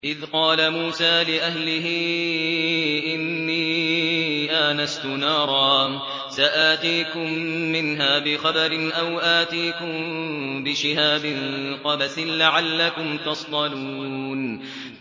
إِذْ قَالَ مُوسَىٰ لِأَهْلِهِ إِنِّي آنَسْتُ نَارًا سَآتِيكُم مِّنْهَا بِخَبَرٍ أَوْ آتِيكُم بِشِهَابٍ قَبَسٍ لَّعَلَّكُمْ تَصْطَلُونَ